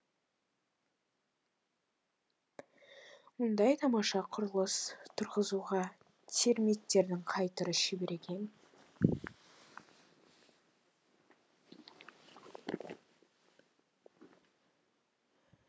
мұндай тамаша құрылыс тұрғызуға термиттердің қай түрі шебер екен